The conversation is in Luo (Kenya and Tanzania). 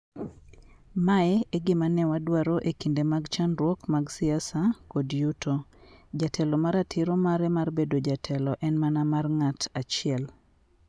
Ma e gima ne wadwaro e kinde mag chandruok mag siasa kod yuto, jatelo ma ratiro mare mar bedo jatelo en mana mar ng'at achiel.